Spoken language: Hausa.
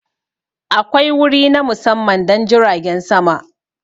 Akwai wuri na musamman don jiragen sama.